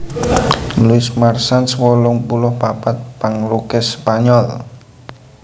Luis Marsans wolung puluh papat panglukis Spanyol